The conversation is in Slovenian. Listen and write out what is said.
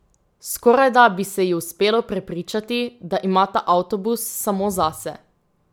Skorajda bi se ji uspelo prepričati, da imata avtobus samo zase.